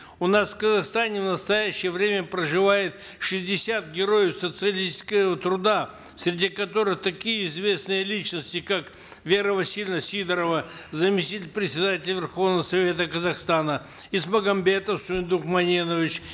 у нас в казахстане в настоящее время проживает шестьдесят героев социалистического труда среди которых такие известные личности как вера васильевна сидорова заместитель председателя верховного совета казахстана исмагамбетов суйындык маненович